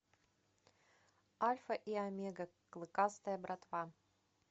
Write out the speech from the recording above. альфа и омега клыкастая братва